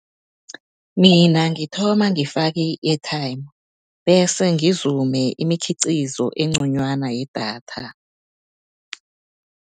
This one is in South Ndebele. Mina ngithoma ngifake i-airtime, bese ngizume imikhiqizo enconywana yedatha.